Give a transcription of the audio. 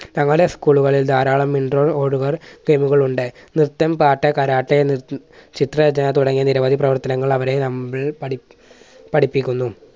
തങ്ങളുടെ school കളിൽ ധാരാളം game കൾ ഉണ്ട്. നൃത്തം, പാട്ട്, കരാട്ടെ, ചിത്ര രചന തുടങ്ങിയ നിരവധി പ്രവർത്തനങ്ങൾ അവരെ നമ്മൾ പഠി~പഠിപ്പിക്കുന്നു.